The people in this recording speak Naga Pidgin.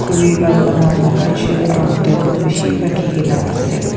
khuri para bana laga chair aro table bishi rakhi kena ase.